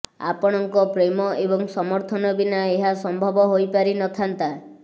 ଆପଣ ଙ୍କ ପ୍ରେମ ଏବଂ ସମର୍ଥନ ବିନା ଏହା ସମ୍ଭବ ହୋଇପାରିନଥାନ୍ତା